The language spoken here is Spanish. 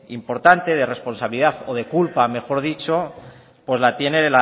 importante de responsabilidad o de culpa mejor dicho la tiene